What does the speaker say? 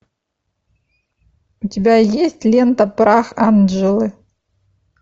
у тебя есть лента прах анджелы